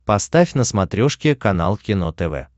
поставь на смотрешке канал кино тв